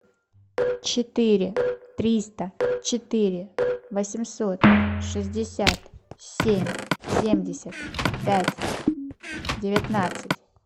четыре триста четыре восемьсот шестьдесят семь семьдесят пять девятнадцать